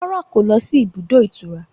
Rárá kò lọ síbi ibùdó ìtura